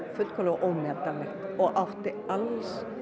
ómetanlegt og átti alls